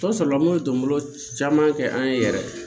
Tɔ sɔrɔla n kun bɛ dɔnbolo caman kɛ an ye yɛrɛ